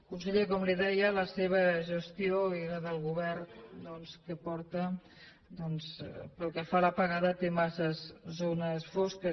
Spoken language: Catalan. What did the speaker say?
conseller com li deia la seva gestió i la del govern doncs que porta pel que fa a l’apagada té massa zones fosques